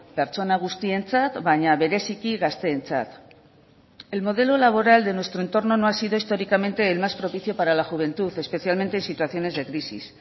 pertsona guztientzat baina bereziki gazteentzat el modelo laboral de nuestro entorno no ha sido históricamente el más propicio para la juventud especialmente en situaciones de crisis